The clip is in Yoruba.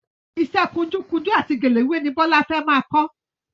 Iṣẹ́ kunjú kunjú àti gèlè wíwé ni Bọ́lá fẹ́ máa kọ́